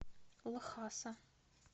лхаса